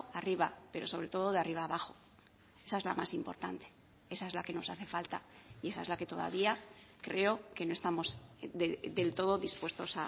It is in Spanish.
arriba pero sobre todo de arriba abajo esa es la más importante esa es la que nos hace falta y esa es la que todavía creo que no estamos del todo dispuestos